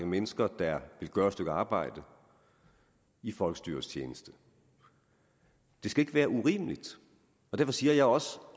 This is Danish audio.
mennesker der vil gøre et stykke arbejde i folkestyrets tjeneste det skal ikke være urimeligt og derfor siger jeg også